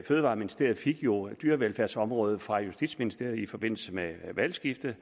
fødevareministeriet jo fik dyrevelfærdsområdet fra justitsministeriet i forbindelse med skiftet